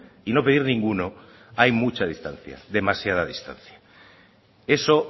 y no pedir ninguno hay mucha distancia demasiada distancia eso